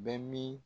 Bɛ min